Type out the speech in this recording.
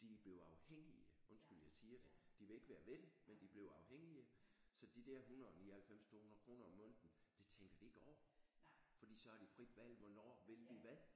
De er blevet afhængige undskyld jeg siger det de vil ikke være ved det men de blev afhængige så de der 199 200 kroner om måneden det tænker de ikke over fordi så har de frit valg hvornår vil vi hvad?